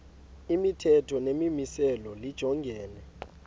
imithetho nemimiselo lijongene